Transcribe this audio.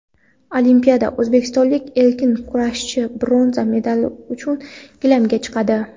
Olimpiada: o‘zbekistonlik erkin kurashchi bronza medal uchun gilamga chiqadi.